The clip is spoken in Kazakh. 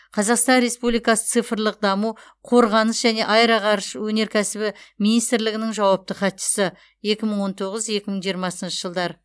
қазақстан республикасы цифрлық даму қорғаныс және аэроғарыш өнеркәсібі министрлігінің жауапты хатшысы екі мың он тоғыз екі мың он жиырмасыншы жылдар